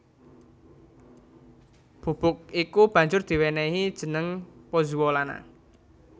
Bubuk iku banjur diwènèhi jeneng pozzuolana